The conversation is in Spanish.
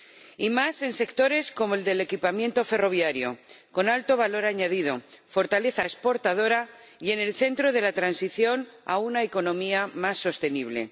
Y más en sectores como el del equipamiento ferroviario, con alto valor añadido, fortaleza exportadora y en el centro de la transición a una economía más sostenible.